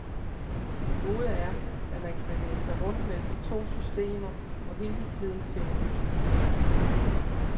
Det gode er, at man kan bevæge sig rundt mellem de to systemer og hele tiden finde nyt.